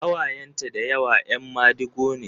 Ƙawayenta da yawa ‘yan madigo ne.